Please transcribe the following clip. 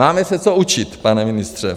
Máme se co učit, pane ministře.